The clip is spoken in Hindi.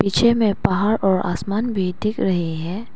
पीछे में पहाड़ और आसमान भी दिख रहे हैं।